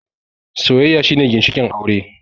Soyayya shine ginshikin aure